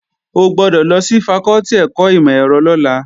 O gbọ́dọ̀ lọ sí fakọ́tì ẹ̀kọ́ ìmọ̀-ẹ̀rọ lọ́la!